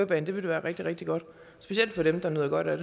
baner det ville være rigtig rigtig godt specielt for dem der nyder godt af